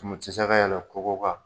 Tɔmati san na yan nɔ kogo ka.